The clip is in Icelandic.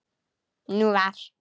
Nú var